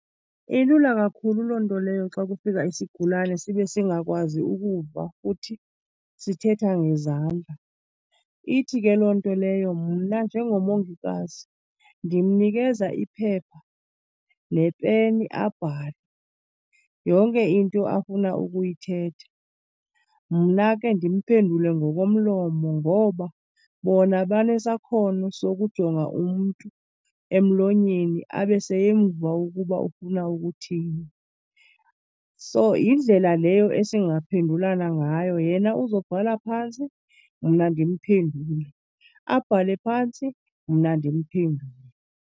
Ilula kakhulu loo nto leyo. Xa kufika isigulane sibe singakwazi ukuva futhi sithetha ngezandla ithi ke loo nto leyo mna njengomongikazi ndimnikeza iphepha nepeni abhale yonke into afuna ukuyithetha. Mna ke ndimphendule ngokomlomo, ngoba bona banesakhono sokujonga umntu emlonyeni abe seyemva ukuba ufuna ukuthini. So yindlela leyo esingaphendulana ngayo. Yena uzobhala phantsi mna ndimphendule, abhale phantsi mna ndimphendule.